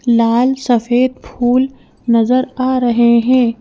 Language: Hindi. लाल सफेद फूल नजर आ रहे हैं।